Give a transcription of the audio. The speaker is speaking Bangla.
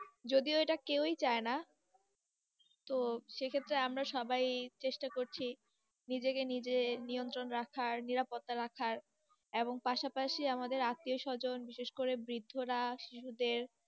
যদি ও এটা কেউ ই চাই না, তো সেক্ষেত্রে আমরা সবাই চেষ্টা করছি, নিজে কে নিজে নিয়ন্ত্রণ রাখার, নিরাপত্তার রাখার, এবং পাশাপাশি আমাদের আত্বিয়স্বজন, বিশেষ করে বৃদ্ধরা শিশুদের।